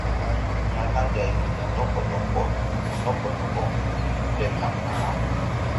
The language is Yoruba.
ọba yìí ní alága ìgbìmọ lọlọpọlọ ìgbìmọ lọlọpọlọ um ìpínlẹ zamfara